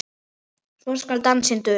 svo skal dansinn duna